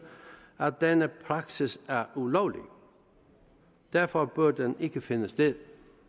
at denne praksis er ulovlig derfor bør den ikke finde sted